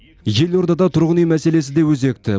елордада тұрғын үй мәселесі де өзекті